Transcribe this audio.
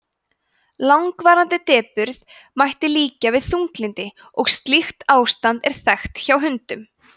langvarandi depurð mætti líkja við þunglyndi og slíkt ástand er þekkt hjá hundum